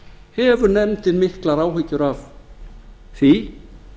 hefur nefndin miklar áhyggjur af því